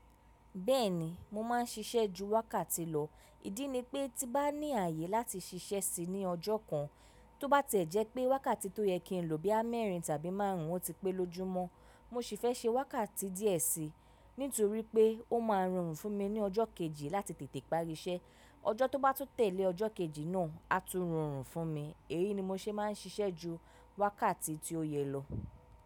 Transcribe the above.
Bẹ́ẹ̀ni, mo máa ń ṣiṣẹ́ ju wákàtí lọ. Ìdí ni pé tí nbá ní ààyè láti ṣiṣẹ́ síi ní ọjọ́ kan, tó bá tiẹ̀ jẹ́ pé wákàtí tó yẹ kí n lò bo ya mẹ́rìn tàbí márùn ún, ó ti pé lójúmọ́. Mo sì fẹ́ ṣe wákàtí díẹ̀ síi, nítorí pé ó máa rorun fún mi ní ọjọ́ kejì láti tètè parí iṣẹ́. Ọjọ́ tó bá tun tẹ̀lé ọjọ́ kejì náà á tún rorun fún mi. Èyi ni mo ṣe máa ń ṣiṣẹ́ ju wákàtí tí ó yẹ lọ.